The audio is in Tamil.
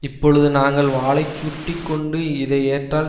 இப்பொழுது நாங்கள் வாலைச் சுருட்டி கொண்டு இதை ஏற்றால்